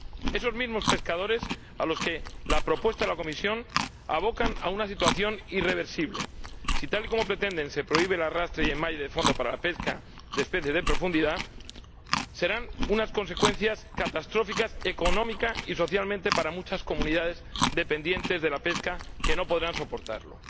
Esos mismos pescadores a los que la propuesta de la Comisión aboca a una situación irreversible. Si, tal y como pretende, se prohíbe el arrastre y enmalle de fondo para la pesca de especies de profundidad, las consecuencias serán económica y socialmente catastróficas para muchas comunidades dependientes de la pesca, que no podrán soportarlo.